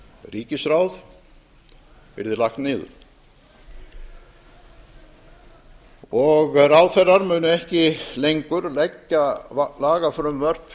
ríkisráð yrði lagt niður og ráðherrar munu ekki lengur leggja lagafrumvörp